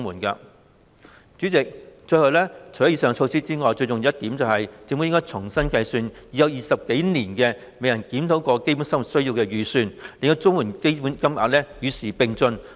代理主席，除了上述措施外，最重要的一點是，政府應重新計算已有20多年未作檢討的"基本生活需要預算"，令綜援標準金額與時並進。